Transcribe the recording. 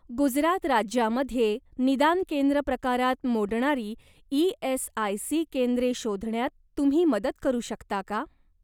गुजरात राज्यामध्ये निदान केंद्र प्रकारात मोडणारी ई.एस.आय.सी. केंद्रे शोधण्यात तुम्ही मदत करू शकता का?